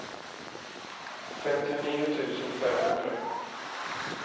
femtionio tusen femhundra